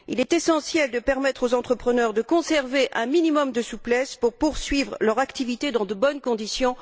Il est essentiel de permettre aux entrepreneurs de conserver un minimum de souplesse pour poursuivre leurs activités dans de bonnes conditions.